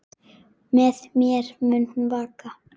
Með mér mun hún vaka.